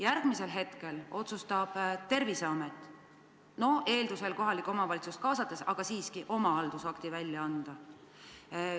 Järgmisel hetkel otsustab Terviseamet – eeldusel, et kohalikku omavalitsust kaasatakse, aga siiski – oma haldusakti välja anda.